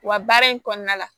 Wa baara in kɔnɔna la